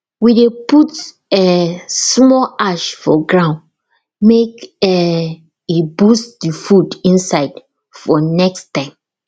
we dey put um small ash for ground make um e boost the food inside for next time